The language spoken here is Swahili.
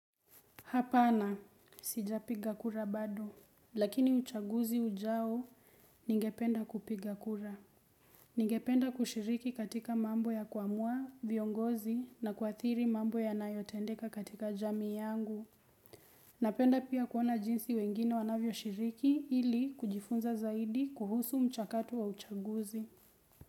Hapana, sijapiga kura bado, lakini uchaguzi ujao ningependa kupiga kura. Ningependa kushiriki katika mambo ya kuamua, viongozi na kuathiri mambo yanayo tendeka katika jamii yangu. Napenda pia kuona jinsi wengine wanavyo shiriki ili kujifunza zaidi kuhusu mchakato wa uchaguzi.